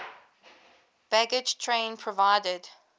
baggage train provided